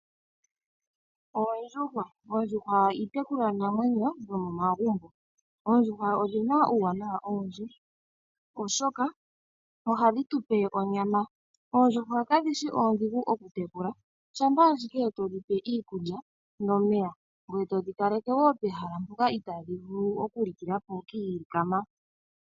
Oondjuhwa, oondjuhwa odho iitekulwanamwenyo yo momagumbo. Oondjuhwa odhi na uuwanawa owundji, oshoka oha dhi tu pe onyama. Oondjuhwa kadhi shi oondhigu oku tekula. Shampa ashike e to dhi pe iikulya nomeya, ngwee to dhi kaleke wo pehala mpoka itaa dhi vulu oku likila po kiilikama.